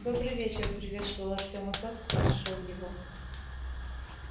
добрый вечер приветствовал артёма тот кто нашёл его